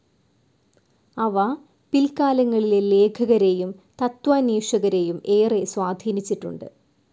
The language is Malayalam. അവ പിൽക്കാലങ്ങളിലെ ലേഖകരേയും തത്ത്വാന്വേഷകരേയും ഏറെ സ്വാധീനിച്ചിട്ടുണ്ട്.